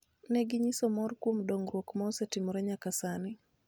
Ne ginyiso mor kuom dongruok ma osetimore nyaka sani,